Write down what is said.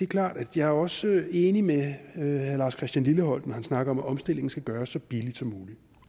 klart at jeg også er enig med herre lars christian lilleholt når han snakker om at omstillingen skal gøres så billigt som muligt